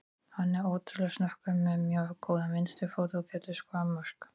Hann er ótrúlega snöggur, með mjög góðan vinstri fót og getur skorað mörk.